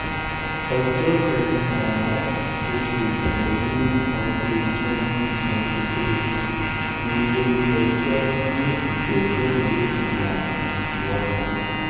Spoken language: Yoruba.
ọjọ́ kẹsàn-án oṣù kín-ín-ní ọdún 2023 nílẹ̀-ẹjọ́ ni ìgbẹ́jọ́ yóò tún máa tẹ̀síwájú